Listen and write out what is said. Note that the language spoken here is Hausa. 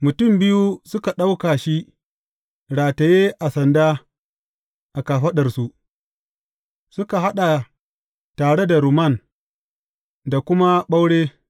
Mutum biyu suka ɗauka shi rataye a sanda a kafaɗarsu, suka haɗa tare da rumman da kuma ɓaure.